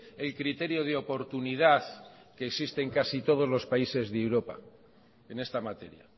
el criterio de oportunidad que existe en casi todos los países de europa en esta materia